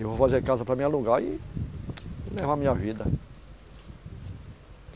Eu vou fazer casa para mim alugar e levar minha vida.